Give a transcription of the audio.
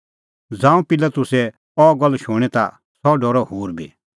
ज़ांऊं पिलातुसै अह गल्ल शूणीं ता सह डरअ होर बी